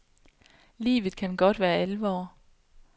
Livet kan godt være alvor.